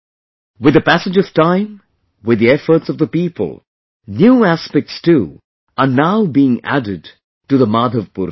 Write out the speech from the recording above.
With the passage of time with the efforts of the people, new aspects too are now being added to the Madhavpur fair